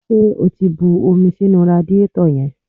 Ṣé o ti bu omi sínú radiétọ̀ yẹn?